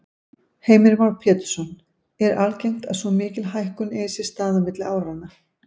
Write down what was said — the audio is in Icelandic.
Heimir Már Pétursson: Er algengt að svo mikil hækkun eigi sér stað á milli áranna?